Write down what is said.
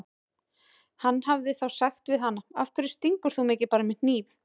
Hann hefði þá sagt við hana: Af hverju stingur þú mig ekki bara með hnífi?